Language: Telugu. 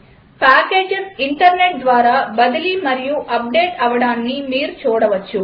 పాకేజస్ ఇంటర్నెట్ ద్వారా బదిలీ మరియు అప్డేట్ అవడాన్ని మీరు చూడవచ్చు